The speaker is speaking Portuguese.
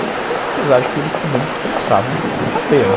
Apesar de que eles também começavam a saber, né?